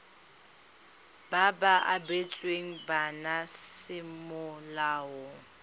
ba ba abetsweng bana semolao